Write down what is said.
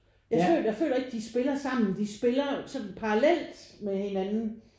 Jeg jeg føler ikke de spiller sammen. De spiller sådan parallelt med hinanden